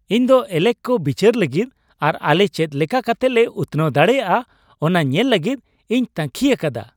ᱤᱧ ᱫᱚ ᱮᱞᱮᱠ ᱠᱚ ᱵᱤᱪᱟᱹᱨ ᱞᱟᱹᱜᱤᱫ ᱟᱨ ᱟᱞᱮ ᱪᱮᱫᱞᱮᱠᱟᱛᱮ ᱞᱮ ᱩᱛᱱᱟᱹᱣ ᱫᱟᱲᱮᱭᱟᱜᱼᱟ ᱚᱱᱟ ᱧᱮᱞ ᱞᱟᱹᱜᱤᱫ ᱤᱧ ᱛᱟᱹᱝᱠᱷᱤ ᱟᱠᱟᱫᱟ ᱾